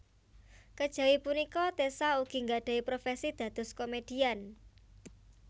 Kejawi punika Tessa ugi nggadhahi profési dados komédian